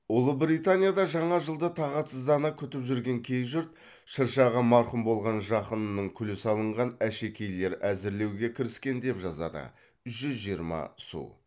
ұлыбританияда жаңа жылды тағатсыздана күтіп жүрген кей жұрт шыршаға марқұм болған жақынының күлі салынған әшекейлер әзірлеуге кіріскен деп жазады жүз жиырма су